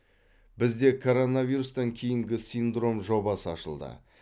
бізде коронавирустан кейінгі синдром жобасы ашылды